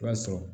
I b'a sɔrɔ